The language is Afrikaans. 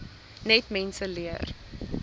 net mense leer